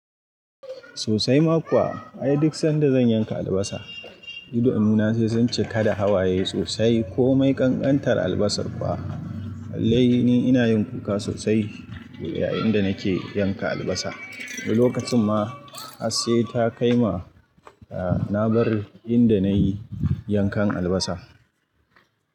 Sosai ma kuwa, ai duk sanda zan yanka albasa, idanu na sai sun cika da hawaye sosai. Ko mai ƙanƙantar albasar fa, wallahi ni ina yin kuka sosai yayin da nake yanka albasa. Wani lokacin ma har sai ta kai ma na bar inda na yi yankan albasa.